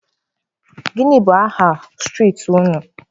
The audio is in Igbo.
Gịnị bụ aha street unu?